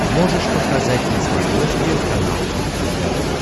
можешь показать на смотрешке канал кухня тв